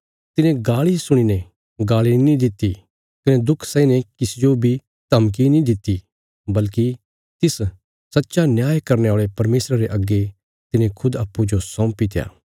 तिने गाल़ी सुणीने गाल़ी नीं दित्ति कने दुख सैहीने किसी जो बी धमकी नीं दित्ति बल्कि तिस सच्चा न्याय करने औल़े परमेशरा रे अग्गे तिने खुद अप्पूँजो सौंपीत्या